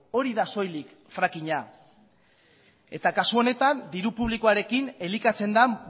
hori da soilik frackingina eta kasu honetan diru publikoarekin elikatzen den